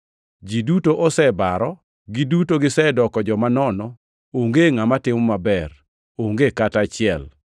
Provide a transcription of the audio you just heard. Ji duto osebaro, giduto gisedoko joma nono; onge ngʼama timo maber, onge kata achiel.” + 3:12 \+xt Zab 14:1-3; 53:1-3; Ekl 7:20\+xt*